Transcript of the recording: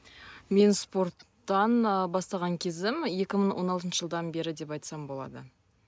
мен спорттан ы бастаған кезім екі мың он алтыншы жылдан бері деп айтсам болады